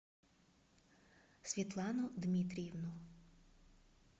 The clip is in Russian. светлану дмитриевну